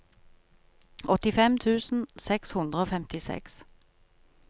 åttifem tusen seks hundre og femtiseks